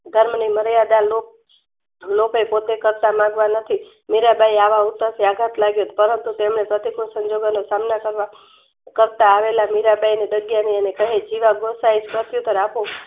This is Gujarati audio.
ગામની મર્યાદા લો લોભે પોતે માંગવા ગયા નથી મીરબાઈયે આવા ઉત્તરથી આધાત લાગ્યો પરંતુ તેમને કરતા આવેલા મીરાંબાઈને કહે જીવા ગોસાઈ